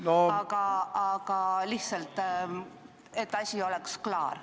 Aga see oli öeldud lihtsalt selleks, et asi oleks klaar.